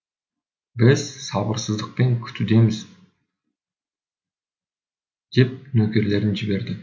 біз сабырсыздықпен күтудеміз деп нөкерлерін жіберді